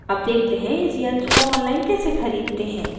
अब देखते हैं इस यंत्र को online कैसे खरीदते हैं